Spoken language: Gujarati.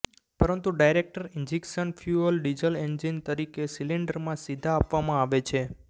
પરંતુ direct injection fuel diesel engine તરીકે સિલિન્ડરમાં સીધા આપવામાં આવે છે